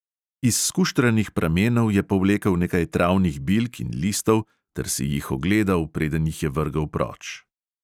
Iz skuštranih pramenov je povlekel nekaj travnih bilk in listov ter si jih ogledal, preden jih je vrgel proč.